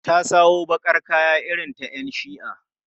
Ta sawo baƙar kaya irin ta 'yan shi'a.